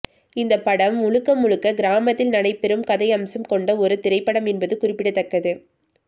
இந்த படம் முழுக்க முழுக்க கிராமத்தில் நடைபெறும் கதையம்சம் கொண்ட ஒரு திரைப்படம் என்பது குறிப்பிடத்தக்கது